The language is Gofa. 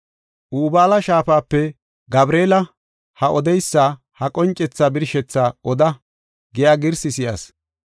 Ubaala shaafape, “Gabreela, ha addiyas ha qoncethaa birshetha oda” giya girsi si7as.